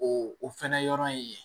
O o fɛnɛ yɔrɔ in ye